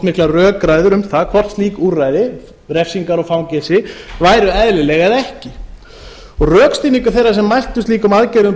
miklar rökræður um það hvort slík úrræði refsingar og fangelsi væru eðlileg eða ekki rökstuðningur þeirra sem mæltu slíkum aðgerðum